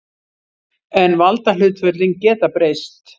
En valdahlutföllin geta breyst.